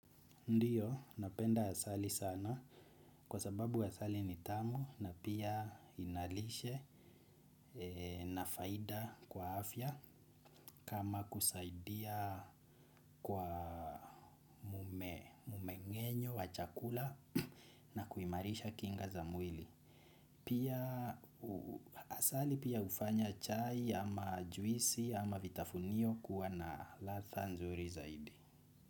Ndio, napenda asali sana kwa sababu asali ni tamu na pia inalishe na faida kwa afya kama kusaidia kwa umengenyo wa chakula na kuimarisha kinga za mwili. Pia asali pia hufanya chai ama juisi ama vitafunio kuwa na ladha nzuri zaidi.